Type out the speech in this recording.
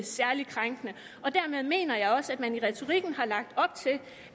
særligt krænkende og dermed mener jeg også at man i retorikken har lagt op til